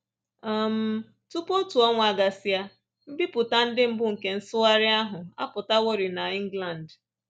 um Tupu otu ọnwa agasịa, mbipụta ndị mbụ nke nsụgharị ahụ apụtaworị n’England